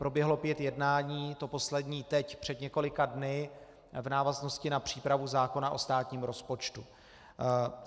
Proběhlo pět jednání, to poslední teď před několika dny, v návaznosti na přípravu zákona o státním rozpočtu.